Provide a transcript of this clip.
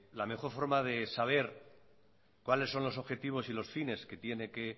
la mejor forma de saber cuáles son los objetivos y los fines que tiene que